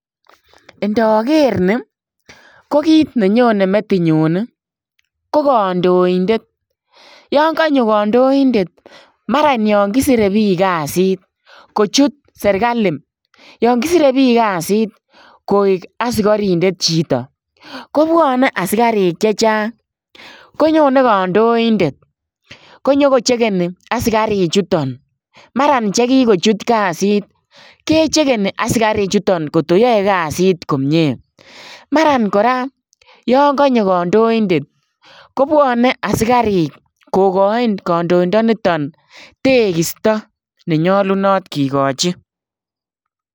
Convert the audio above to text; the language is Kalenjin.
Ndaker nii ko kiit ne nyonei metinyuun ii ko kandoindet yaan kanyoo kandoindet maran yaan kisirei biik kazit kochuut serikali yaan kisirei biik kazit koek askarindet chitoo kobwane askariik chechaang konyonei kandoindet ko nyokochekenie askariik chutoon maran che kikochuut kazit kechekeni askariik chutoon ngoot ko yae kazit komyei maran kora yaan kanyoo kandoindet kobuane askariik kogain kandoindet nitoon tekistaa nenyalunaat kigachiin.